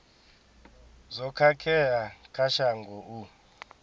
zwo khakhea kha shango u